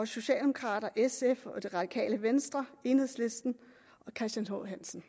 socialdemokraterne sf det radikale venstre enhedslisten og christian h hansen